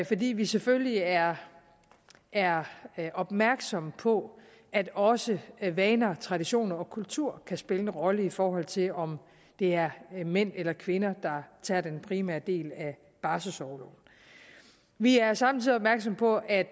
fordi vi selvfølgelig er er opmærksomme på at også vaner traditioner og kultur kan spille en rolle i forhold til om det er mænd eller kvinder der tager den primære del af barselsorloven vi er samtidig opmærksomme på at